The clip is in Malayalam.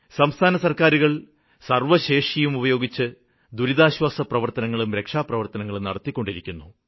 സംസ്ഥാനസര്ക്കാരുകള് സര്വ്വശേഷിയും ഉപയോഗിച്ച് ദുരിതാശ്വാസപ്രവര്ത്തനങ്ങളും രക്ഷാപ്രവര്ത്തനങ്ങളും നടത്തിക്കൊണ്ടിരിക്കുന്നു